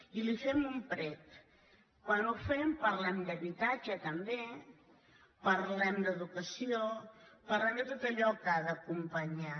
i li fem un prec quan ho fem parlem d’habitatge també parlem d’educació parlem de tot allò que ha d’acompanyar